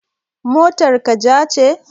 Motar ka ja ce?